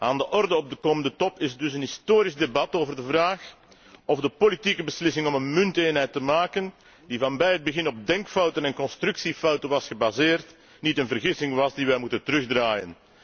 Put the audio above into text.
Aan de orde op de komende Top is dus een historisch debat over de vraag of de politieke beslissing om een munteenheid te maken, die vanaf het begin op denkfouten en constructiefouten was gebaseerd, niet een vergissing was die wij moeten terugdraaien.